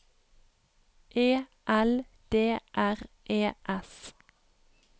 E L D R E S